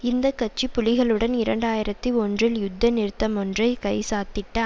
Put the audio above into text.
இந்த கட்சி புலிகளுடன் இரண்டாயிரத்தி ஒன்றில் யுத்த நிறுத்தமொன்றை கைச்சாத்திட்ட